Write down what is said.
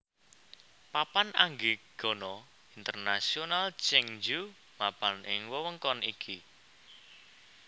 Papan Anggegana Internasional Cheongju mapan ing wewengkon iki